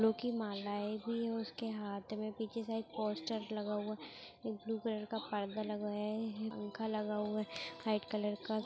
फूलों की मालाये भी उसके हाथ में पीछे साइड पोस्टर लगा हुआ एक ब्लू कलर का पर्दा लगा हुआ है ये पंखा लगा हुआ है वाइट कलर का